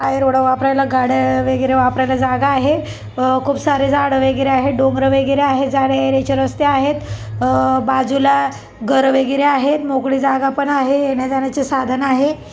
Road वापरायला गाड्या वगैरे वापरायला जागा आहे अ खुप सारे झाड वगैरे आहेत डोंगर वगैरे आहेत जाण्यायेण्याचे रस्ते आहेत अ बाजूला घर वगैरे आहेत मोकळी जागा पण आहे येण्याजाण्याचे साधन आहे.